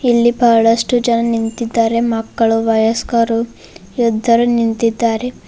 ಇಲ್ಲಿ ಬಹಳಷ್ಟು ಜನ ನಿಂತಿದ್ದಾರೆ ಮಕ್ಕಳು ವಯಸ್ಕರು ಯುದ್ಧರು ನಿಂತಿದ್ದಾರೆ.